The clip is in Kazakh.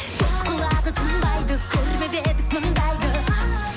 сөз қылады тынбайды көрмеп едік мұндайды